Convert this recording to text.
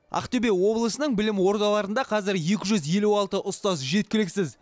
ақтөбе облысының білім ордаларында қазір екі жүз елу алты ұстаз жеткіліксіз